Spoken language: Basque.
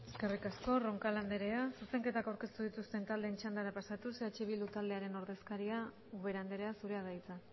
eskerrik asko roncal andrea zuzenketak aurkeztu dituzten taldeen txandara pasatuz eh bildu taldearen ordezkaria ubera andrea zurea da hitza